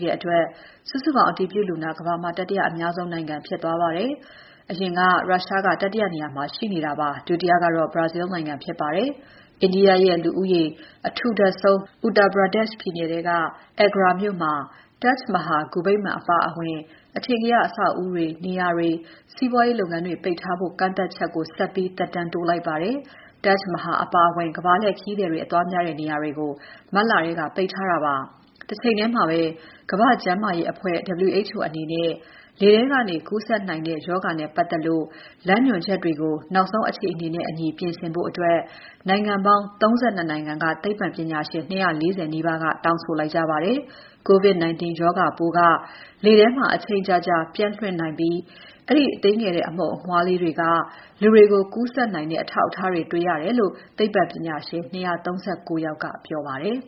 တဲ့အတွက် စုစုပေါင်း အတည်ပြုလူနာ ကမ္ဘာမှာ တတိယအများဆုံး နိုင်ငံဖြစ်သွားပါတယ်။ အရင်က ရုရှားက တတိယနေရာမှာ ရှိနေတာပါ။ ဒုတိယကတော့ Brazil နိုင်ငံဖြစ်ပါတယ်။ India ရဲ့လူဦးရေ အထူထပ်ဆုံး Uttar Pradesh ပြည်နယ်ထဲက Agra မြို့မှာ Taj Mahal ဂူဗိမ္မာန်အပါအဝင် အထင်ကရ အဆောက်ဦးတွေ၊ နေရာတွေ၊ စီးပွားရေးလုပ်ငန်းတွေ ပိတ်ထားဖို့ကန့်သတ်ချက်ကို ဆက်ပြီး သက်တမ်းတိုးလိုက်ပါတယ်။ Taj Mahal အပါအဝင် ကမ္ဘာလှည့်ဧည့်သည်တွေ အသွားများတဲ့ နေရာတွေကို မတ်လထဲက ပိတ်ထားတာဖြစ်ပါတယ်။ တချိန်ထဲမှာပဲ ကမ္ဘာ့ကျန်းမာရေးအဖွဲ့ WHO အနေနဲ့ လေထဲကနေ ကူးစက်နိုင်တဲ့ ရောဂါနဲ့ပါတ်သက်လို့ လမ်းညွှန်ချက်တွေကို နောက်ဆုံးအခြေအနေနဲ့အညီ ပြင်ဆင်ဖို့ နိုင်ငံပေါင်း ၃၂ နိုင်ငံက သိပ္ပံပညာရှင် ၂၄၀ နီးပါးက တောင်းဆိုလိုက်ကြပါတယ်။ COVID-19 ရောဂါပိုးက လေထဲမှာ အချိန်ကြာကြာ ပျံ့လွင့်နိုင်ပြီး အဲဒီသေးငယ်တဲ့ အမှုန်အမွှားလေးတွေက လူတွေကို ကူးစက်နိုင်တဲ့ အထောက်အထားတွေ တွေ့ရတယ်လို့ သိပ္ပံပညာရှင် ၂၃၉ ယောက်က ပြောပါတယ်